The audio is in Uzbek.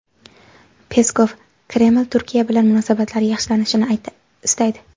Peskov: Kreml Turkiya bilan munosabatlar yaxshilanishini istaydi.